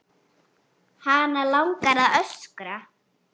Hana langar að öskra.